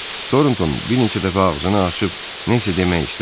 Tornton bir neçə dəfə ağzını açıb nə isə demək istədi.